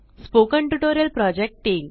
spoken tutorial project team